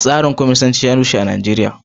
Tsarin kwamanisanci ya rushe a Najeriya.